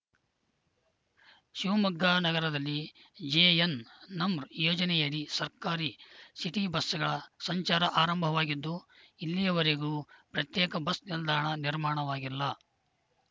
ಶಿವಮೊಗ್ಗ ನಗರದಲ್ಲಿ ಜೆಎನ್‌ ನಮ್‌ ಯೋಜನೆಯಡಿ ಸರ್ಕಾರಿ ಸಿಟಿ ಬಸ್‌ಗಳ ಸಂಚಾರ ಆರಂಭವಾಗಿದ್ದು ಇಲ್ಲಿಯವರೆಗೂ ಪ್ರತ್ಯೇಕ ಬಸ್‌ ನಿಲ್ದಾಣ ನಿರ್ಮಾಣವಾಗಿಲ್ಲ